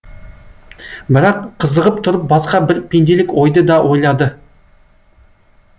бірақ қызығып тұрып басқа бір пенделік ойды да ойлады